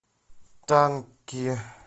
танки